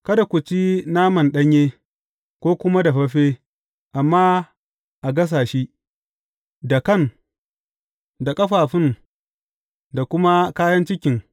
Kada ku ci nama ɗanye, ko kuma dafaffe, amma a gasa shi, da kan, da ƙafafun, da kuma kayan cikin.